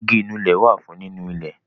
Igi Ìnulẹ̀ wá fún nínú ilẹ̀